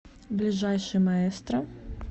ближайший маэстро